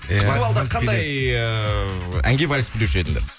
күзгі балда қандай эээ әнге вальс билеуші едіңдер